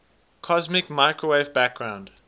cosmic microwave background